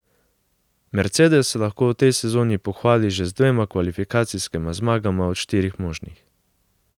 Mercedes se lahko v tej sezoni pohvali že z dvema kvalifikacijskima zmagama od štirih možnih.